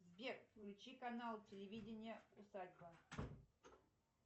сбер включи канал телевидения усадьба